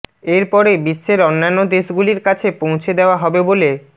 এরপরে বিশ্বের অন্যান্য দেশগুলির কাছে পৌঁছে দেওয়া হবে বলে